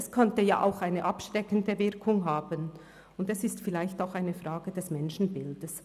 Es könnte auch eine abschreckende Wirkung haben, und es ist vielleicht auch eine Frage des Menschenbilds.